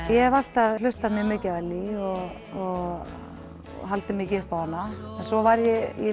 ég hef alltaf hlusta mikið á Ellý og haldið mikið upp á hana svo var ég í